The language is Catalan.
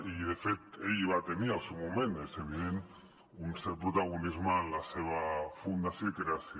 i de fet ell va tenir al seu moment és evident un cert protagonisme en la seva fundació i creació